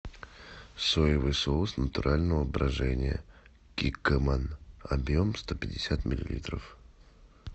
соевый соус натурального брожения киккоман объем сто пятьдесят миллилитров